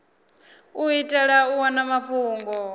u itela u wana mafhungo